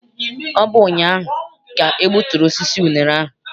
Ọ bụ ụnyaahụ ka e gbuturu osisi unere ahụ.